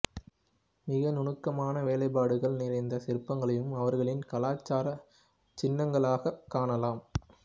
மிக நுணுக்கமான வேலைப்பாடுகள் நிறைந்த சிற்பங்களையும் அவர்களின் கலாசார சின்னங்களாகக் காணலாம்